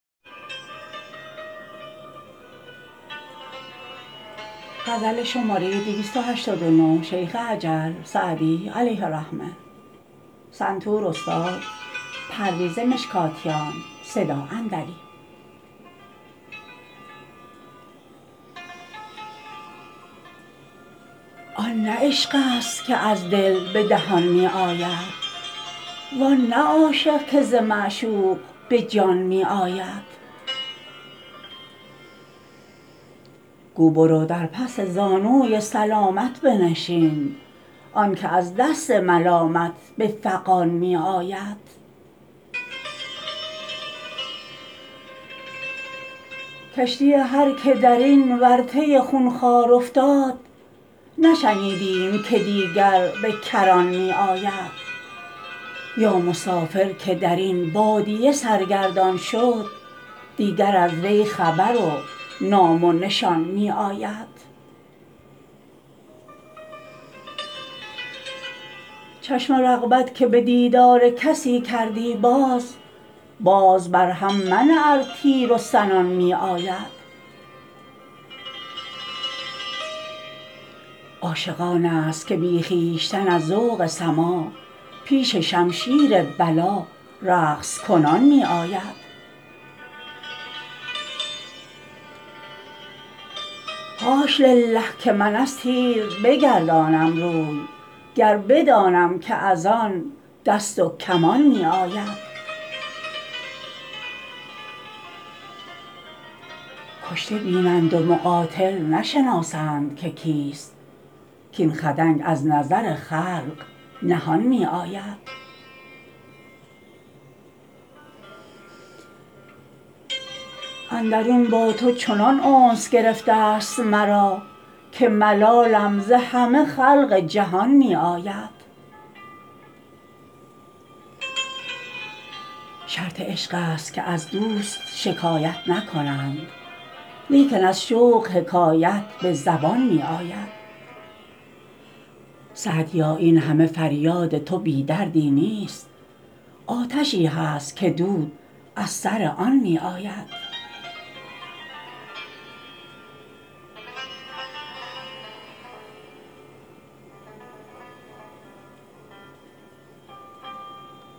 آن نه عشق است که از دل به دهان می آید وان نه عاشق که ز معشوق به جان می آید گو برو در پس زانوی سلامت بنشین آن که از دست ملامت به فغان می آید کشتی هر که در این ورطه خونخوار افتاد نشنیدیم که دیگر به کران می آید یا مسافر که در این بادیه سرگردان شد دیگر از وی خبر و نام و نشان می آید چشم رغبت که به دیدار کسی کردی باز باز بر هم منه ار تیر و سنان می آید عاشق آن است که بی خویشتن از ذوق سماع پیش شمشیر بلا رقص کنان می آید حاش لله که من از تیر بگردانم روی گر بدانم که از آن دست و کمان می آید کشته بینند و مقاتل نشناسند که کیست کاین خدنگ از نظر خلق نهان می آید اندرون با تو چنان انس گرفته ست مرا که ملالم ز همه خلق جهان می آید شرط عشق است که از دوست شکایت نکنند لیکن از شوق حکایت به زبان می آید سعدیا این همه فریاد تو بی دردی نیست آتشی هست که دود از سر آن می آید